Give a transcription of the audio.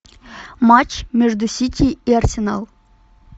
матч между сити и арсенал